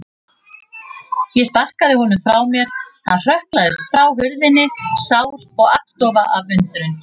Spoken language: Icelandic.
Ég sparkaði honum frá mér, hann hrökklaðist frá hurðinni, sár og agndofa af undrun.